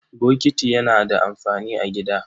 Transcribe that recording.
Bokiti yana da amfani a gida.